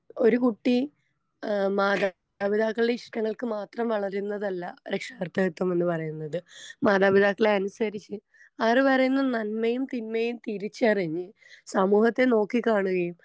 ഒരു കുട്ടി ഏ മാതാപിതാക്കൾടെ ഇഷ്ടങ്ങൾക്ക് മാത്രം വളരുന്നതല്ല രക്ഷകർതൃകത്വം എന്ന പറയുന്നത് മാതാപിതാക്കളെ അനുസരിച്ച് അവര് പറയുന്ന നന്മയും തിന്മയും തിരിച്ചറിഞ്ഞ് സമൂഹത്തെ നോക്കി കാണുകയും.